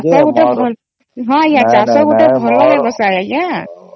ଚାଷ ଗୋଟେ ହଁ ଆଂଜ୍ଞା ଚାଷ ଗୋଟେ ଭଲ ବ୍ୟବସାୟ ଆଂଜ୍ଞା